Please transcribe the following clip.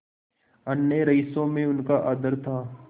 अन्य रईसों में उनका आदर था